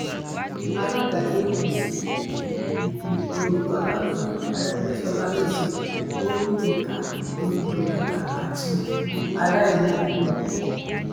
alága apc igun oyetola fún arègbèsọlá lésì ó ní ìka onígbéraga àti aláìmoore ni